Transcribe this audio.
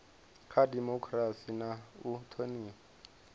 kha dimokirasi na u thonifha